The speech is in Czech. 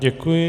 Děkuji.